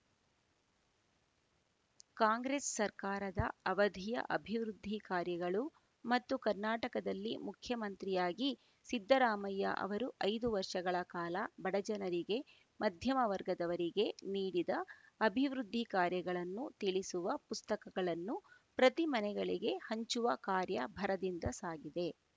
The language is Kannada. ಕಾಂಗ್ರೆಸ್‌ ಸರ್ಕಾರದ ಅವಧಿಯ ಅಭಿವೃದ್ಧಿ ಕಾರ್ಯಗಳು ಮತ್ತು ಕರ್ನಾಟಕದಲ್ಲಿ ಮುಖ್ಯಮಂತ್ರಿಯಾಗಿ ಸಿದ್ದರಾಮಯ್ಯ ಅವರು ಐದು ವರ್ಷಗಳ ಕಾಲ ಬಡಜನರಿಗೆ ಮಧ್ಯಮ ವರ್ಗದವರಿಗೆ ನೀಡಿದ ಅಭಿವೃದ್ಧಿ ಕಾರ್ಯಗಳನ್ನು ತಿಳಿಸುವ ಪುಸ್ತಕಗಳನ್ನು ಪ್ರತಿ ಮನೆಗಳಿಗೆ ಹಂಚುವ ಕಾರ್ಯ ಭರದಿಂದ ಸಾಗಿದೆ